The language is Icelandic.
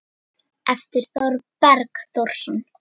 eftir Þorberg Þórsson